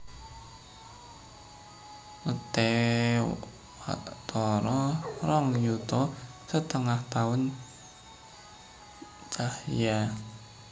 Leté watara rong yuta setengah taun cahya